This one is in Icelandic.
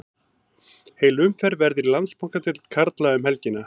Heil umferð verður í Landsbankadeild karla um helgina.